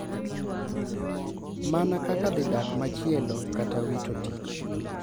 Mana kaka dhi dak machielo kata wito tich,